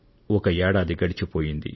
ఒక ఏడాది గడిచిపోయింది